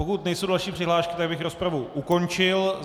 Pokud nejsou další přihlášky, tak bych rozpravu ukončil.